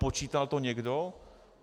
Počítal to někdo?